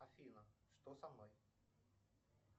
афина что со мной